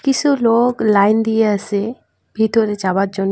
কিসু লোক লাইন দিয়াসে ভিতরে যাবার জন --